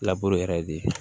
yɛrɛ de